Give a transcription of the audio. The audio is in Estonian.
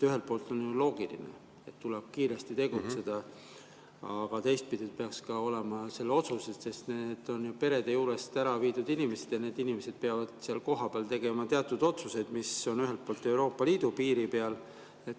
Ühelt poolt on loogiline, et tuleb kiiresti tegutseda, aga teistpidi peaks, et need on perede juurest ära viidud inimesed ja need inimesed peavad seal kohapeal tegema teatud otsuseid, mis Euroopa Liidu piiri.